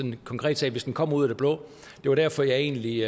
en konkret sag hvis den kommer ud af det blå det var derfor jeg egentlig